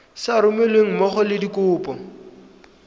sa romelweng mmogo le dikopo